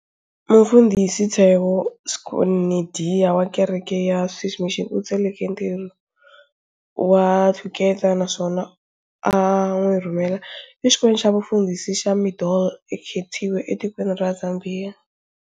Mufundhisi Theo Schneider wa kereke ya Swiss Mission, u tsakele ntirho wa Thuketa naswona a n'wirhumela e xikolweni xa vufundhisi xa Mindolo, e Kitwe, e tikweni ra Zambiya.